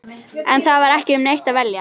En það var ekki um neitt að velja.